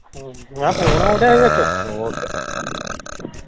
ਹਮ ਮੈਂ ਕਿਹਾ ਫੋਨ ਆਏ ਦਾ ਹੀ ਵਿੱਚ